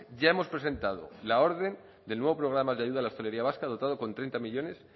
ya hemos presentado la orden del nuevo programa de ayuda a la hostelería vasca dotado con treinta millónes